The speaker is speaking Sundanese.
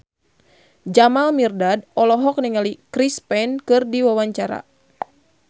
Jamal Mirdad olohok ningali Chris Pane keur diwawancara